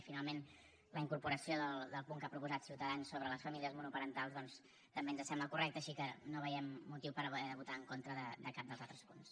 i finalment la incorporació del punt que ha proposat ciutadans sobre les famílies monoparentals doncs també ens sembla correcte així que no veiem motiu per haver de votar en contra de cap dels altres punts